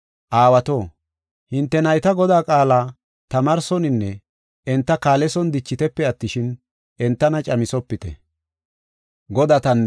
Aawato, hinte nayta Godaa qaala tamaarsoninne enta kaaleson dichitepe attishin, entana caamisopite.